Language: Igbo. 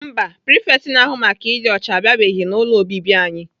Mba, prifekt na-ahụ maka ịdị ọcha abịabeghị n'ụlọ obibi anyị.